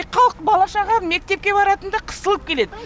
халық бала шаға мектепке баратындар қысылып келеді